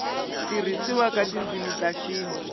tirhisiwa ka tindzimi ta xintu